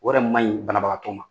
O yɛrɛ maɲi banabagatɔ ma.